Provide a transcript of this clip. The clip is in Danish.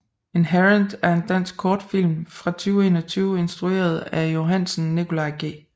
Inherent er en dansk kortfilm fra 2021 instrueret af Johansen Nicolai G